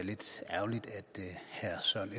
sådan